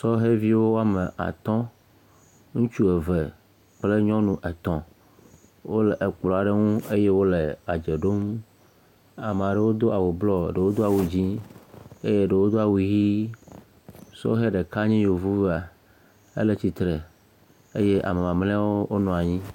Sɔheviwo woame atɔ̃, ŋutsu eve kple nyɔnu etɔ̃, wole ekplɔ aɖe ŋu eye wole edze ɖom, ame aɖewo do awu blɔɔ eye ɖewo do awu dzɛ̃ eye ɖewo do awu ʋi, sɔhe ɖeka nye yevua ele tsitre eye ame mamleawo wonɔ anyi.